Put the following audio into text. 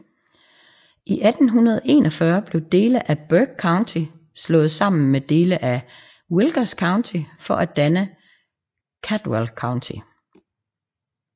I 1841 blev dele af Burke County slået sammen med dele af Wilkes County for at danne Caldwell County